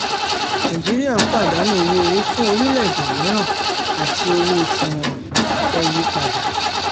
nàìjíríà ń pàdánù owó-orí fún orílẹ̀-èdè mìíràn àti owó tí wọ́n fẹ́ yí padà.